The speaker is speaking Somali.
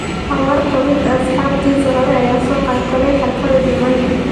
Dhawr ka mid ah asxaabtiisii ​​hore ayaa ka soo qayb galay xaflada jimcihii.